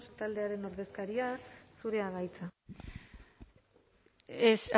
taldearen ordezkaria zurea da hitza